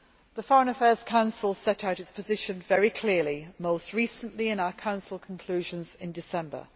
The Foreign Affairs Council set out its position very clearly, most recently in our Council conclusions in December.